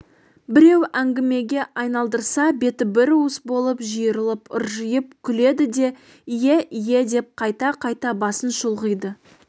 біреу әңгімеге айналдырса беті бір уыс болып жиырылып ыржиып күледі де ие ие деп қайта-қайта басын шұлғиды